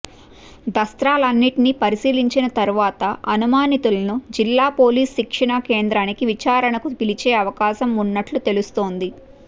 దస్త్రాలన్నింటినీ పరిశీలించిన తర్వాత అనుమానితులను జిల్లా పోలీసు శిక్షణా కేంద్రానికి విచారణకు పిలిచే అవకాశం ఉన్నట్లు తెలుస్తోంది